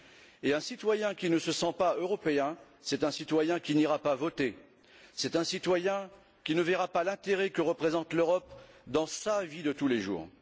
Et un citoyen qui ne se sent pas européen, c'est un citoyen qui n'ira pas voter. C'est un citoyen qui ne verra pas l'intérêt que représente l'Europe dans sa vie de tous les jours.